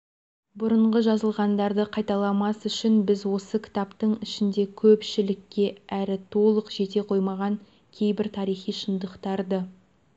бұрынғы жазылғандарды қайталамас үшін біз осы кітаптың ішінде көпшілікке әлі толық жете қомаған кейбір тарихи шындықтарды